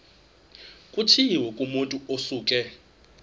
kutshiwo kumotu osuke